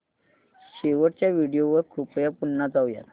शेवटच्या व्हिडिओ वर कृपया पुन्हा जाऊयात